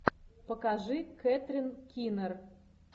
покажи кэтрин кинер